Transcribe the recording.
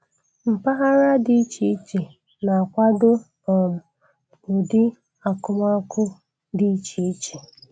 Mpaghara dị iche iche na-akwado um ụdị akumakụ dị iche iche.